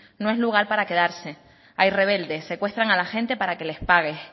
no es lugar para quedarse hay rebeldes secuestran a la gente para que les pagues